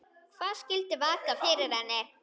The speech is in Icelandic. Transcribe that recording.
Hvað skyldi vaka fyrir henni?